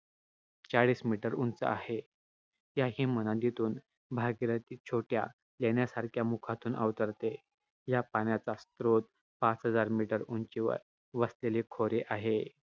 चाळीस meter उंच आहे. या हिमनदीतून भागीरथी छोट्या लेण्यासारख्या मुखातून अवतरते. या पाण्याचा स्रोत पाच हजार meter उंचीवर वसलेले खोरे आहे.